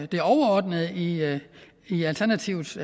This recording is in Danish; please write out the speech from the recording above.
det overordnede i alternativets